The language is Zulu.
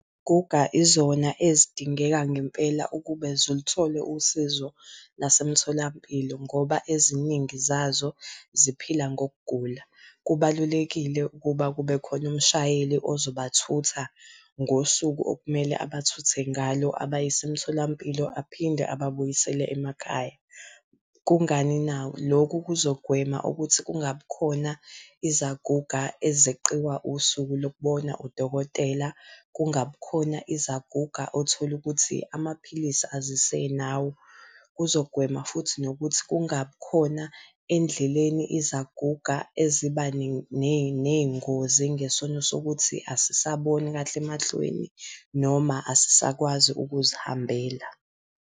izona ezidingeka ngempela ukuba ziluthole usizo lase mtholampilo ngoba eziningi zazo ziphila ngokugula. Kubalulekile ukuba kube khona umshayeli ozobathutha ngosuku okumele abathuthe ngalo abayise emtholampilo, aphinde ababuyisele emakhaya. Kungani na? Lokhu kuzogwema ukuthi kungabi khona izaguga ezeqiwa usuku lokubona udokotela, kungabi khona izaguga othola ukuthi amaphilisi azisenawo. Kuzogwema futhi nokuthi kungabi khona endleleni izaguga eziba ney'ngozi ngesono sokuthi asisaboni kahle emehlweni noma asisakwazi ukuzihambela.